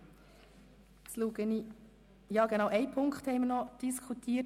Wir haben ausserdem die Beratungsformen diskutiert.